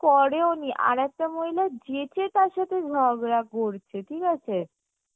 করেওনি আরেকটা মহিলা যেচে আর সাথে ঝগড়া করছে, ঠিক আছে